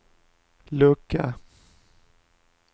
lucka